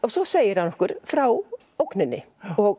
svo segir hann okkur frá ógninni